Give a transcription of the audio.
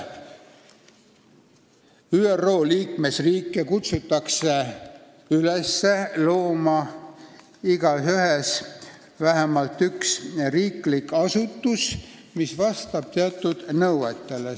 ÜRO liikmesriike kutsutakse üles, et igas riigis loodaks vähemalt üks riiklik asutus, mis vastab teatud nõuetele.